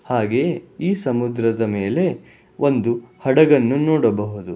ಹಾಗೆ ಈ ಸಮುದ್ರದ ಮೇಲೆ ಒಂದು ಹಡಗನ್ನು ನೋಡಬಹುದು.